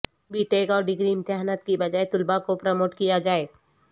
be tech اور degree امتحانات کے بجائے طلبہ کو پروموٹ کیا جائے